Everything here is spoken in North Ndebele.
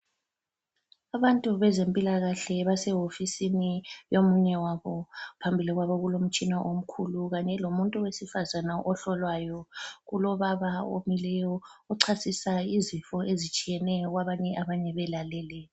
Abantu bezempilakahle basewofisini yomunye wabo. Phambili kwabo kulomtshina omkhulu kanye lomuntu wesifazane ohlolwayo. Kulobaba omileyo, ochasisa izifo ezitshiyeneyo kwabanye, abanye belalele.